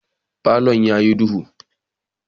Falon yayi duhu.